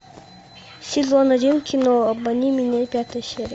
сезон один кино обмани меня пятая серия